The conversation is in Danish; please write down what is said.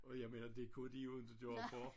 Og jeg mener det kunne de jo inte gøre for